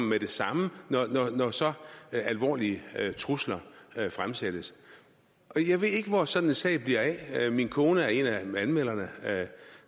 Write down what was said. med det samme når så alvorlige trusler fremsættes jeg ved ikke hvor sådan en sag bliver af min kone er en af anmelderne